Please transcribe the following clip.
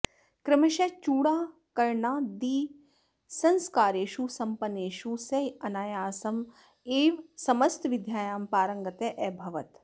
क्रमशः चूडाकरणादिसंस्कारेषु सम्पन्नेषु सः अनायासम् एव समस्तविद्यायां पारङ्गतः अभवत्